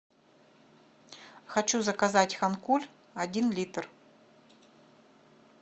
хочу заказать хан куль один литр